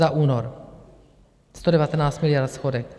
Za únor 119 miliard schodek.